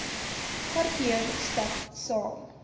parkeer stap saam